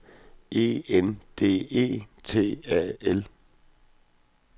E N D E T A L